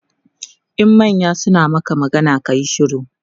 in manya suna Maka magana kayi shiru